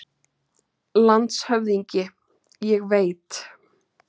LANDSHÖFÐINGI: Ég veit.